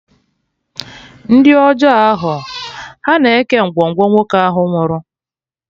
Ndị ọjọọ ahụ, ha na-eke ngwongwo nwoke ahụ nwụrụ